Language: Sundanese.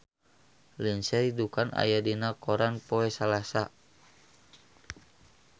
Lindsay Ducan aya dina koran poe Salasa